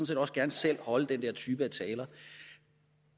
set også gerne selv holde den der type af taler